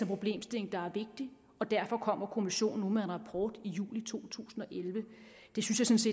problemstilling der er vigtig og derfor kommer kommissionen nu med en rapport i juli to tusind og elleve det synes